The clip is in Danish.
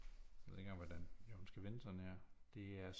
Jeg ved ikke engang hvordan jo den skal vende sådan her det er